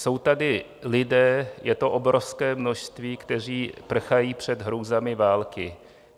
Jsou tady lidé, je to obrovské množství, kteří prchají před hrůzami války.